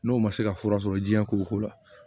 N'o ma se ka fura sɔrɔ jiɲɛ ko ko la